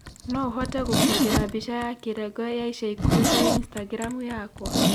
no ũhote gũbokera mbĩca ya kĩrengo ya ĩca ĩkũhĩ kũri Instagram yakwa